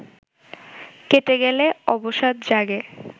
কেটে গেলে অবসাদ জাগে